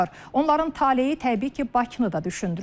Onların taleyi təbii ki, Bakını da düşündürür.